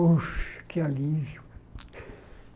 Oxe, que alívio.